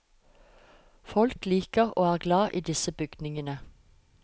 Folk liker og er glad i disse bygningene.